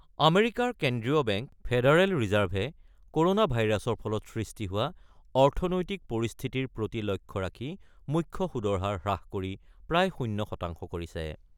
আমেৰিকাৰ কেন্দ্ৰীয় bank federal ৰিজাৰ্ভে ক'ৰনা ভাইৰাছৰ ফলত সৃষ্টি হোৱা অৰ্থনৈতিক পৰিস্থিতিৰ প্ৰতি লক্ষ্য ৰাখি মুখ্য সুদৰ হাৰ হ্ৰাস কৰি প্ৰায় শূন্য শতাংশ কৰিছে।